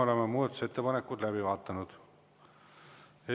Oleme muudatusettepanekud läbi vaadanud.